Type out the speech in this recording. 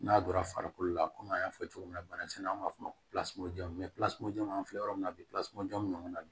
N'a donra farikolo la komi an y'a fɔ cogo min na banamisɛnnin an b'a fɔ o ma an filɛ yɔrɔ min na bi jɔn bɛ ɲɔgɔn na